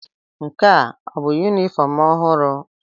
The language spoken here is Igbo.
Nke a ọ bụ yunifọọm ọhụrụ?